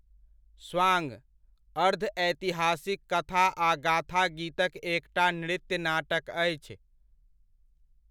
स्वांग, अर्ध ऐतिहासिक कथा आ गाथा गीतक एकटा नृत्य नाटक अछि।